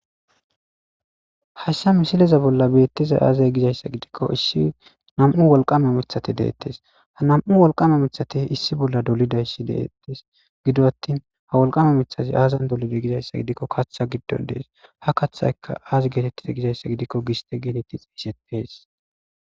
Hassa misileza bolla beettiza aazay gizayssa gidikko issi nam'u wolqame mithate deettes ha nam'u wolqame mithate issi bolla dolidayssi deettes gido attin ha wolqame mithati aazan dolida gizayssa gidikko kaththa giddon dees ha kathayka aazi geetettiza gizayssa gidikko giste geetetti xeesetees.